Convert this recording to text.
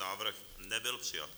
Návrh nebyl přijat.